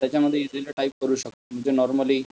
त्याच्यामध्ये easily type करू शकतो म्हणजे नोर्मल्ली.